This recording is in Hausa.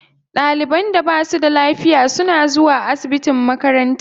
Ɗaliban da ba su da lafiya suna zuwa asibitin makaranta.